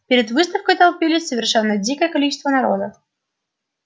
перед выставкой толпилось совершенно дикое количество народа